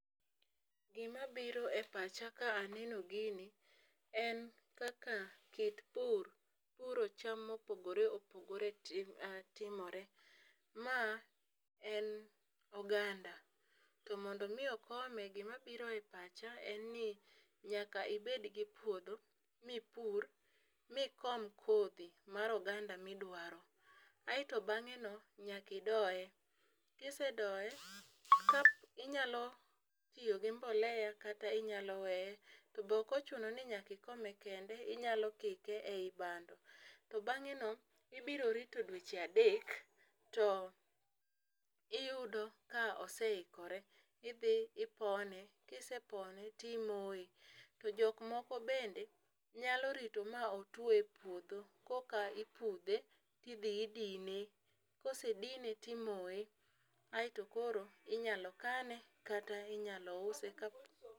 Gima biro e pacha ka aneno gini en kaka kit pur puro cham mopogore opogore timore. Ma en oganda to mondo mi okome gimabiro e pacha en ni nyaka ibed gi puodho mipur mikom kodhi mar oganda midwaro . Aeto bang'e no nyaki doye, kisedoye ka inyalo tiyo gi mbolea kata inyalo weye to bok ochuno ni nyaki kome kende inyalo kike ei bando. To bang'e no ibiro rito dweche adek to iyudo ka oseikore idhi ipone kisepone timoye to. Jok moko bende nyalo rito ma otwo e puodho koka ipudhe tidhi idine, kosedine timoye aeto koro imoye inyalo kane kata inyalo use kap.